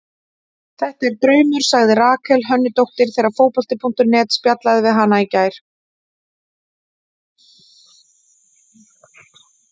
Þetta er draumur, sagði Rakel Hönnudóttir þegar Fótbolti.net spjallaði við hana í gær.